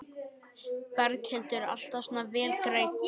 Berghildur: Alltaf svona vel greidd?